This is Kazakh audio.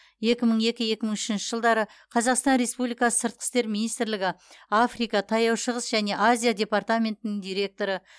екі мың екі екі мың үшінші жылдары қазақстан республикасы сыртқы істер министрлігі африка таяу шығыс және азия департаментінің директоры